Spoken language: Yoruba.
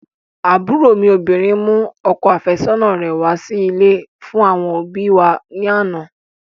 Àbúrò mi obìnrin mú ọkọ àfẹ́sọ́nà rẹ̀ wá sí ilé fún àwọn òbíi wa ní àná.